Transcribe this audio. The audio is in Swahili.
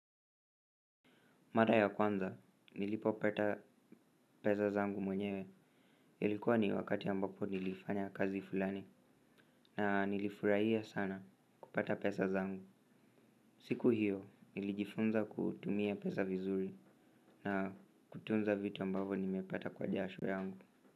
Mara ya kwanza, nilipo pata pesa zangu mwenyewe, ilikuwa ni wakati ambapo nilifanya kazi fulani, na nilifurahia sana kupata pesa zangu. Siku hiyo nilijifunza kutumia pesa vizuri na kutunza vitu ambavyo nimepata kwa jasho yangu.